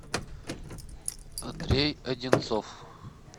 андрей одинцов